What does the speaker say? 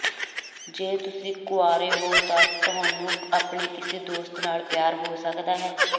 ਜੇ ਤੁਸੀਂ ਕੁਆਰੇ ਹੋ ਤਾਂ ਤੁਹਾਨੂੰ ਆਪਣੇ ਕਿਸੇ ਦੋਸਤ ਨਾਲ ਪਿਆਰ ਹੋ ਸਕਦਾ ਹੈ